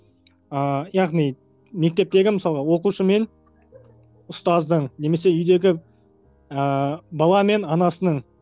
ыыы яғни мектептегі мысалы оқушы мен ұстаздың немесе үйдегі ыыы бала мен анасының